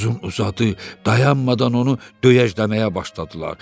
Uzun-uzadı, dayanmadan onu döyəcləməyə başladılar.